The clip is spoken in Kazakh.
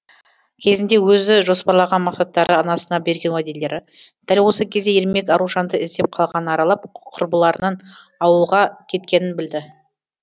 кезінде өзі жоспарлаған мақсаттары анасына берген уәделері дәл осы кезде ермек аружанды іздеп қаланы аралап құрбыларынан ауылға кеткенін білді